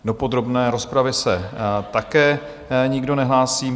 Do podrobné rozpravy se také nikdo nehlásí.